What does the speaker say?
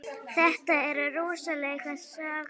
Þetta er rosaleg saga.